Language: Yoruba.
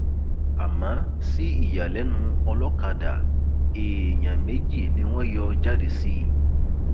àmọ sí ìyàlẹnu ọlọkadà èèyàn méjì ni wọn yọ jáde sí i